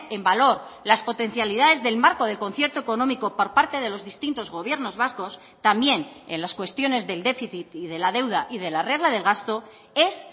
en valor las potencialidades del marco del concierto económico por parte de los distintos gobiernos vascos también en las cuestiones del déficit y de la deuda y de la regla del gasto es